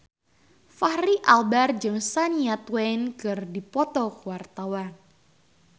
Fachri Albar jeung Shania Twain keur dipoto ku wartawan